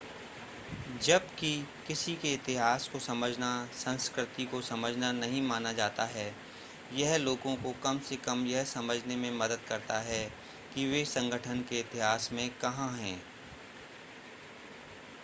जब कि किसी के इतिहास को समझना संस्कृति को समझना नहीं माना जाता है यह लोगों को कम से कम यह समझने में मदद करता है कि वे संगठन के इतिहास में कहां हैं